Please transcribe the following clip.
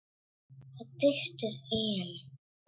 Það tístir í henni.